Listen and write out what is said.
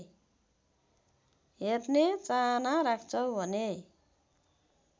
हेर्ने चाहना राख्छौ भने